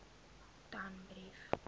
danbrief